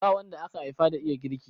Ba wanda aka haifa da iya girki.